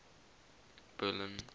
berlin